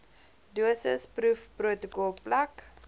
dosis proefprotokol plek